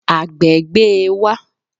Àgbẹ̀ gbé e wá